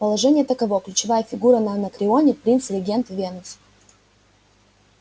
положение таково ключевая фигура на анакреоне принц-регент венус